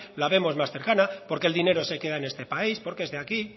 la vemos más cercana porque el dinero se queda en este país porque es de aquí